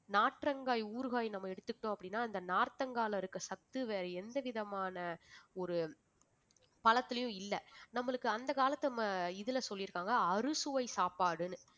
நாற்றங்காய் ஊறுகாய் நம்ம எடுத்துக்கிட்டோம் அப்படின்னா அந்த நார்த்தங்காயில இருக்க சத்து வேற எந்த விதமான ஒரு பழத்திலயும் இல்லை நம்மளுக்கு அந்த காலத்து இதுல சொல்லியிருக்காங்க அறுசுவை சாப்பாடுன்னு